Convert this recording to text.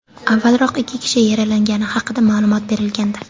Avvalroq, ikki kishi yaralangani haqida ma’lumot berilgandi.